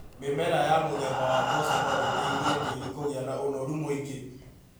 Mĩmera ya muthemba wa mboco no ĩteithie tĩĩri kũgĩa na ũnoru mũingĩ.